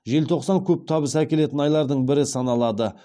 желтоқсан көп табыс әкелетін айлардың бірі саналады